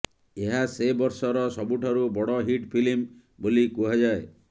ଏହା ସେ ବର୍ଷର ସବୁଠାରୁ ବଡ଼ ହିଟ ଫିଲ୍ମ ବୋଲି କୁହାଯାଏ